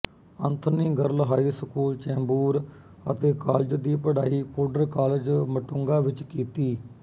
Anthony girl high school Chembur ਅਤੇ college ਦੀ ਪੜ੍ਹਾਈ ਪੋਡਰ ਕਾਲਜ ਮਟੁੰਗਾਂ ਵਿੱਚ ਕੀਤੀ